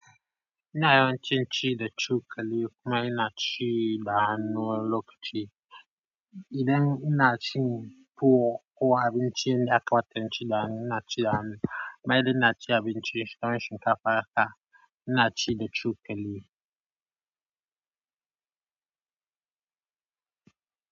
Ina yawan cin ci da cokali, kuma ina ci da hannu wani lokaci. Idan inacin tuwo, ko abincin da yakamata inci da hannu inaci da hannu, maybe inacin abinci kaman shinkafa haka ina ci da cokali.